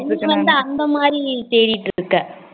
நீ வந்து மாறி தேடிட்டு இருக்க